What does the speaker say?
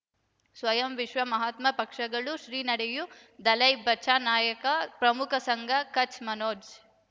ಸ್ವಯಂ ವಿಶ್ವ ಮಹಾತ್ಮ ಪಕ್ಷಗಳು ಶ್ರೀ ನಡೆಯೂ ದಲೈ ಬಚಾ ನಾಯಕ ಪ್ರಮುಖ ಸಂಘ ಕಚ್ ಮನೋಜ್